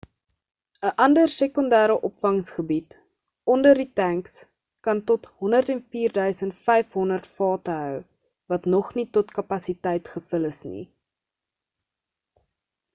'n ander sekondêre opvangsgebied onder die tanks kan tot 104,500 vate hou wat nog nie tot kapasiteit gevul is nie